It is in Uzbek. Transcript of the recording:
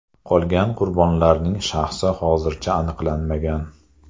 Qolgan qurbonlarning shaxsi hozircha aniqlanmagan.